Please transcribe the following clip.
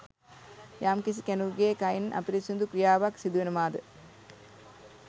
යම්කිසි කෙනෙකුගේ කයින් අපිරිසිදු ක්‍රියාවක් සිදුවෙනවාද